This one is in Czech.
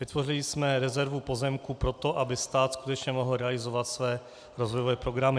Vytvořili jsme rezervu pozemků pro to, aby stát skutečně mohl realizovat své rozvojové programy.